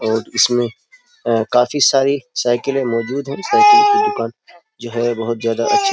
और इसमें काफी सारी साइकिले मौजूद है । साइकिल की दुकान जो है। बहुत ज्यादा अच्छी --